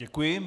Děkuji.